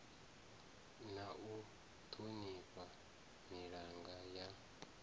na u ṱhonifha milanga ya